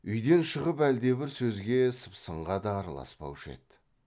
үйден шығып әлдебір сөзге сыпсыңға да араласпаушы еді